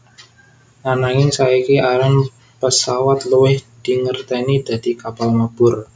Ananging saiki aran pesawat luwih dingerteni dadi kapal mabur